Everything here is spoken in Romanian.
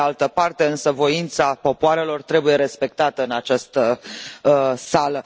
Pe de altă parte însă, voința popoarelor trebuie respectată în această sală.